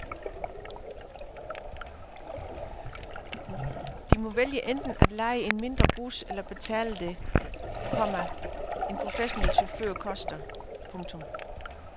De må vælge enten at leje en mindre bus eller betale det, komma en professionel chauffør koster. punktum